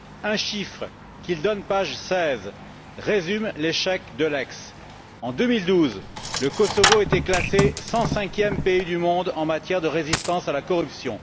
Un chiffre qu'il donne page 16 résume l'échec d'Eulex en 2012, le Kosovo était classé 105e pays du monde en matière de résistance à la corruption